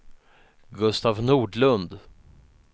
Gustaf Nordlund